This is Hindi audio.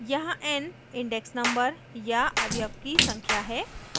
यहाँ n index number या अवयव की संख्या है